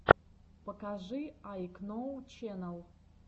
покажи айкноу ченэл